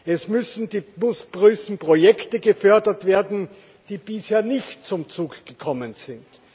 Es müssen die größten Projekte gefördert werden, die bisher nicht zum Zug gekommen